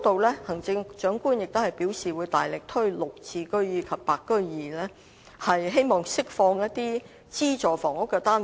此外，行政長官在施政報告中表示會大力推行"綠置居"及"白居二"，希望釋放資助房屋單位。